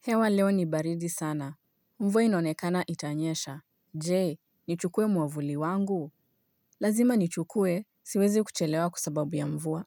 Hewa leo ni baridi sana mvua inonekana itanyesha Je, nichukue mwavuli wangu Lazima nichukue, siwezi kuchelewa kwa sababu ya mvua